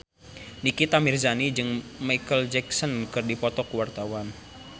Nikita Mirzani jeung Micheal Jackson keur dipoto ku wartawan